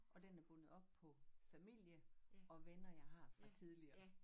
Og den er bundet op på familie og venner jeg har fra tidligere